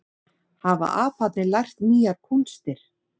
Hafa aparnir lært nýjar kúnstir